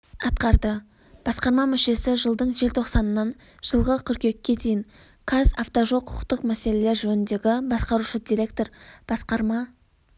атқарды басқарма мүшесі жылдың желтоқсанынан жылғы қыркүйекке дейін қазавтожол құқықтық мәселелер жөніндегі басқарушы директор басқарма